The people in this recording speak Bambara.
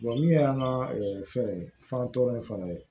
min y'an ka fɛn fantɔrɔn in fana ye